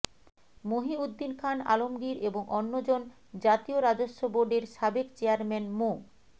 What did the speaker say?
মহীউদ্দীন খান আলমগীর এবং অন্যজন জাতীয় রাজস্ব বোর্ডের সাবেক চেয়ারম্যান মো